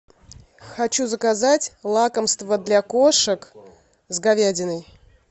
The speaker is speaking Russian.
хочу заказать лакомство для кошек с говядиной